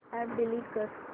app delete कर